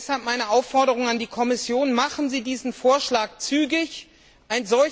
Deshalb meine Aufforderung an die Kommission Legen Sie diesen Vorschlag zügig vor!